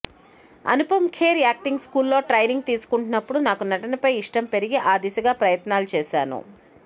Anupam Kher acting స్కూల్లో training తీసుకుంటున్నప్పుడు నాకు నటనపైన ఇష్టం పెరిగి ఆ దిశగా ప్రయత్నాలు చేశాను